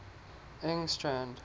engstrand